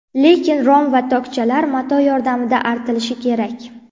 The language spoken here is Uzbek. Lekin rom va tokchalar mato yordamida artilishi kerak.